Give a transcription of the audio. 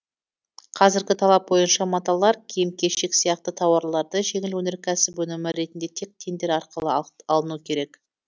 қазіргі талап бойынша маталар киім кешек сияқты тауардарды жеңіл өнеркәсіп өнімі ретінде тек тендер арқылы алыну керек